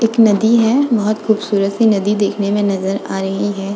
एक नदी है बहुत खूबसूरत सी नदी देखने में नजर आ रही है।